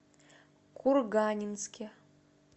курганинске